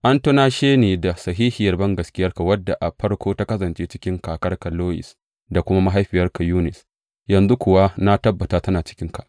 An tunashe ni da sahihiyar bangaskiyarka, wadda a farko ta kasance a cikin kakarka Loyis da kuma mahaifiyarka Yunis yanzu kuwa na tabbata tana cikinka.